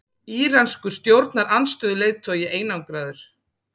Íranskur stjórnarandstöðuleiðtogi einangraður